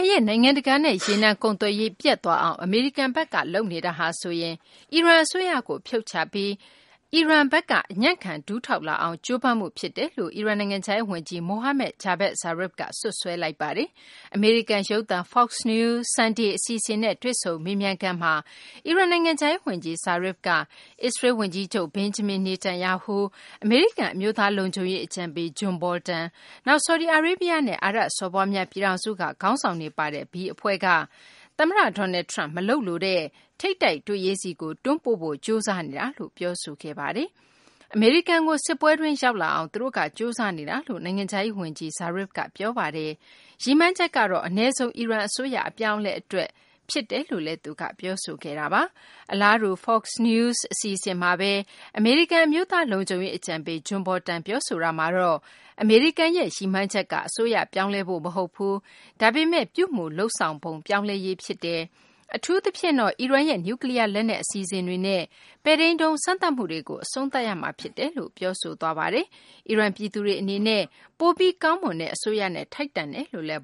ရဲ့ နိုင်ငံတကာနဲ့ ရေနံကုန်သွယ်ရေး ပျက်သွားအောင် အမေရိကန်ဘက်က လုပ်နေတာဟာဆိုရင် အီရန် အစိုးရကို ဖြုတ်ချပြီး အီရန်ဘက်က အညံ့ခံ ဒူးထောက်လာအောင် ကြိုးပမ်းမှု ဖြစ်တယ်လို့ အီရန် နိုင်ငံခြားရေး ဝန်ကြီး Mohammad Javad Zarif က စွပ်စွဲလိုက်ပါတယ်။ အမေရိကန် ရုပ်သံ Fox News Sunday အစီအစဉ်နဲ့ တွေ့ဆုံမေးမြန်းခန်းမှာ အီရန် နိုင်ငံခြားရေး ဝန်ကြီး Zarif က အစ္စရေးလ် ဝန်ကြီးချုပ် Benjamin Netanyahu၊ အမေရိကန် အမျိုးသားလုံခြုံရေး အကြံပေး John Bolton ၊ နောက် ဆော်ဒီအာရေးဗျနဲ့ အာရပ်စော်ဘွားများ ပြည်ထောင်စုက ခေါင်းဆောင်တွေ ပါတဲ့ B အဖွဲ့က သမ္မတ Donald Trump မလုပ်လိုတဲ့ ထိပ်တိုက်တွေ့ရေးဆီကို တွန်းပို့ဖို့ ကြိုးစားနေတာလို့ ပြောဆိုခဲ့ပါတယ်။ အမေရိကန်ကို စစ်ပွဲတွင်း ရောက်လာအောင် သူတို့က ကြိုးစားနေကြတာလို့ နိုင်ငံခြားရေး ဝန်ကြီး Zarif က ပြောပါတယ်။ ရည်မှန်းချက်ကတော့ အနည်းဆုံး အီရန် အစိုးရ အပြောင်းအလဲ အတွက် ရည်မှန်းတာ လို့လည်းသူက ပြောဆိုခဲ့ပါတယ်။ အလားတူ Fox News အစီအစဉ်မှာဘဲ အမေရိကန် အမျိုးသား လုံခြုံရေး အကြံပေး John Bolton က ပြောဆိုတာမှာတော့ အမေရိကန်ရဲ့ ရည်မှန်းချက်က အစိုးရ ပြောင်းလဲဖို့ မဟုတ်ဘူး၊ ဒါပေမယ့် ပြုမူလုပ်ဆောင်မှု ပြောင်းလဲရေး ဖြစ်တယ် အထူးသဖြင့်တော့ အီရန်ရဲ့ နျူးကလီးယား လက်နက် အစီအစဉ်တွေနဲ့ ပဲ့ထိန်းဒုံး စမ်းသပ်မှုတွေကို အဆုံးသတ်ရမှာ ဖြစ်တယ်လို့ ပြောဆိုသွားပါတယ်။ အီရန် ပြည်သူတွေ အနေနဲ့ ပိုပြီး ကောင်းမွန်တဲ့ အစိုးရနဲ့ ထိုက်တန်ပါတယ်လို့လည်း